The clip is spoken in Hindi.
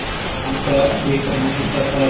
दयालुता एक प्रमुख हिस्सा था